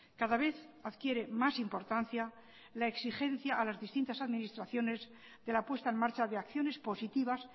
cada vez adquiere más importancia la exigencia a las distintas administraciones de la puesta en marcha de acciones positivas